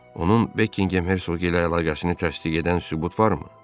Onun Bekkingem Hersoqu ilə əlaqəsini təsdiq edən sübut var?